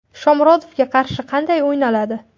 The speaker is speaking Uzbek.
Shomurodovga qarshi qanday o‘ynaladi?